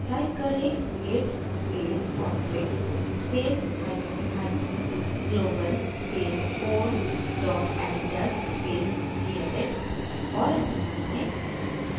type करें: git space config space hyphen hyphen global space core dot editor space gedit और enter दबाएँ